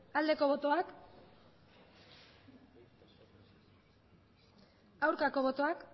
aldeko botoak aurkako botoak